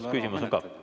Kas küsimus on ka?